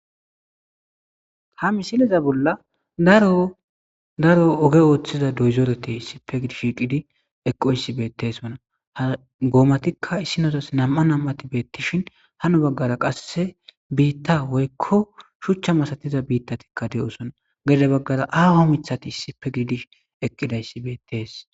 ha misileza bolla daro oge ooththiza doyzoretey sipe gidi shiiqidi eqqo issi beettes ona ha goomatikka issinozas nam7a nam7ati beettishin hano baggara qasse biitta woykko shuchcha masatiza biittatikka de7osona geida baggara aaho mithati isipe gidi eqqidayssi beettees